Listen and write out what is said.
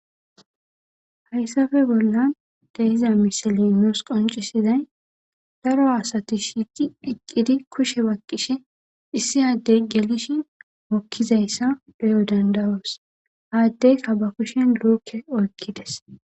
hayssafe bollan dehiza misali noos qoncisizay daro asati shiiqi eqqidi kushe bakqishe issi addey gelishi mokkizayssa deyo dandawoos haaddeyka ba kushen loukke oykkides